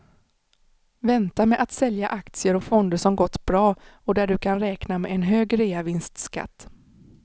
Vänta med att sälja aktier och fonder som gått bra och där du kan räkna med en hög reavinstskatt.